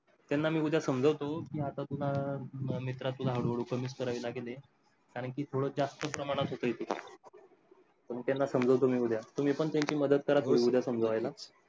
त्यांनी मी उद्या समजावतो कि आता तुला मित्रा तुला हळू हळू कमीच करावी लागेल कारण कि थोडं जास्त प्रमाणात होतंय तुझं. त्यांना समजावतो मी उद्या तुम्ही पण त्यांची मदत करा उद्या समजवायला.